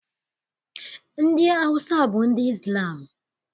Ndị Awụsa bụ ndị Izlam